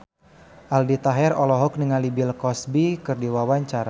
Aldi Taher olohok ningali Bill Cosby keur diwawancara